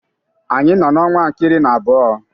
Anyị nọ n'ọnwa nke iri na abụọ.